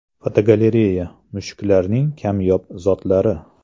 Fotogalereya: Mushuklarning kamyob zotlari.